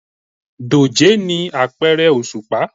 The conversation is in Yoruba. Dòjé ni apẹrẹ oṣupa